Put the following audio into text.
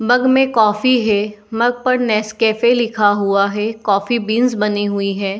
मग में कॉफ़ी है। मग पर नेसकैफे लिखा हुआ है। कॉफी बीन्स बनी हुई है |